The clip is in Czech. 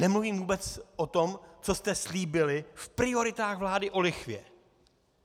Nemluvím vůbec o tom, co jste slíbili v prioritách vlády o lichvě.